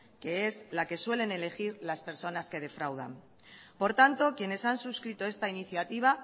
que es la que suelen elegir las personas que defraudan por tanto quienes han suscrito esta iniciativa